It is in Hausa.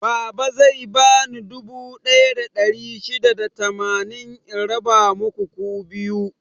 Baba zai bani dubu ɗaya da ɗari shida da tamanin in raba muku ku biyu.